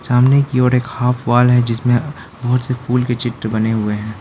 सामने की ओर एक हाफ वाल है जिसमें बहोत से फूल के चित्र बने हुए हैं।